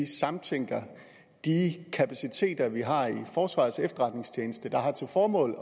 samtænker de kapaciteter vi har i forsvarets efterretningstjeneste der har til formål